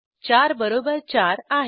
4 बरोबर 4 आहे